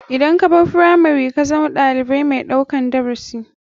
Idan kabar firamari kazama ɗalibiu mai ɗaukan darasi.